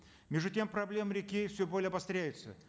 между тем проблемы реки все более обостряются